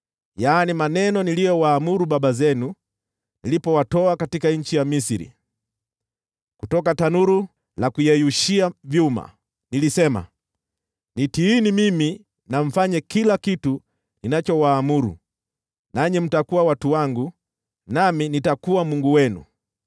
maneno niliyowaamuru baba zenu nilipowatoa katika nchi ya Misri, kutoka tanuru la kuyeyushia vyuma.’ Nilisema, ‘Nitiini mimi na mfanye kila kitu ninachowaamuru, nanyi mtakuwa watu wangu, nami nitakuwa Mungu wenu.